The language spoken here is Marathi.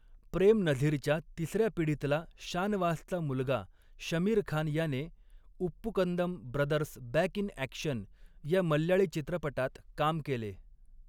प्रेम नझीरच्या तिसऱ्या पिढीतला शानवासचा मुलगा शमीर खान याने 'Uppukandam brothers back in action' या मल्याळी चित्रपटात काम केले.